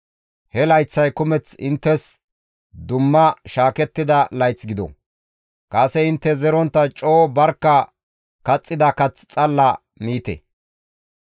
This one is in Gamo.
He layththay kumeth inttes dumma shaakettida layth gido; kase intte zerontta coo barkka kaxxida kath xalla miite.